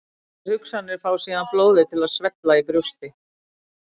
Þær hugsanir fá síðan blóðið til að svella í brjósti.